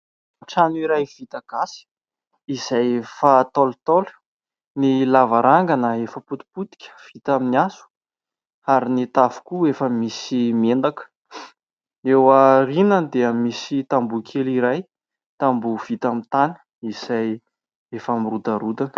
Trano iray vita gasy izay efa ntaolo ntaolo, ny lavarangana efa potipotika vita amin'ny hazo ary ny tafo koa efa misy miendaka. Eo aorianany dia misy tamboho kely iray, tamboho vita amin'ny tany izay efa mirodarodana.